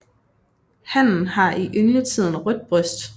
Hannen har i yngletiden rødt bryst